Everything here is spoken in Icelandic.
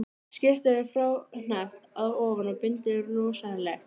Skyrtan er fráhneppt að ofan og bindið losaralegt.